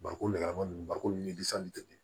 Bariko lama ninnu bariko ni tɛ